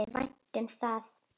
Honum þótti vænt um það.